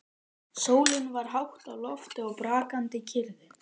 Sólin var hátt á lofti og brakandi kyrrðin.